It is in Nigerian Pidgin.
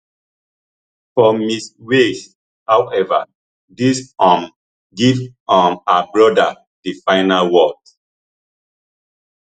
for ms wales however dis um give um her brother di final word